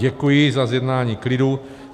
Děkuji za zjednání klidu.